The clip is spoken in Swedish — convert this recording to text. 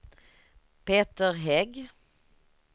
Peter Hägg